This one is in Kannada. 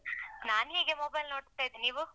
ನಾನ್ ಹೀಗೆ mobile ನೋಡ್ತ ಇದ್ದೆ ನೀವು?